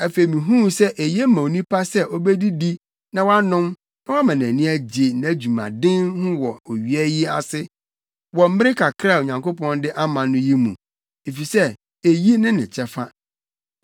Afei mihuu sɛ eye ma onipa sɛ obedidi na wanom na wama nʼani agye nʼadwumaden ho wɔ owia yi ase, wɔ mmere kakra a Onyankopɔn de ama no yi mu, efisɛ eyi ne ne kyɛfa.